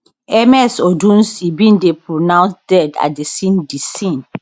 ms odunsi bin dey pronounced dead at di scene di scene